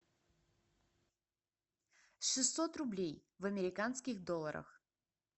шестьсот рублей в американских долларах